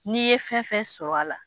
N'i ye fɛn fɛn sɔrɔ a la.